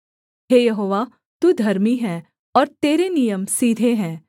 हे यहोवा तू धर्मी है और तेरे नियम सीधे हैं